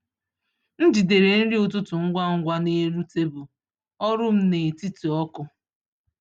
M jidere nri ụtụtụ ngwa ngwa n’elu tebụl ọrụ m n’etiti oku.